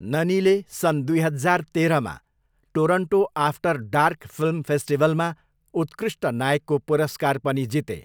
ननीले सन् दुई हजार तेह्रमा टोरन्टो आफ्टर डार्क फिल्म फेस्टिभलमा उत्कृष्ट नायकको पुरस्कार पनि जिते।